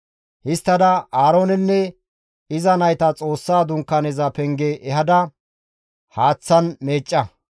«Histtada Aaroonenne iza nayta Xoossa Dunkaaneza penge ehada haaththan meecca.